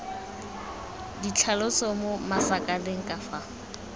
ditlhaloso mo masakaneng ka fa